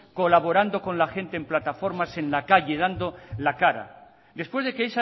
colaborando con la gente en plataformas en la calle dando la cara después de que